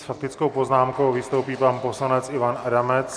S faktickou poznámkou vystoupí pan poslanec Ivan Adamec.